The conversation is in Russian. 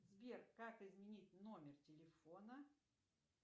сбер как изменить номер телефона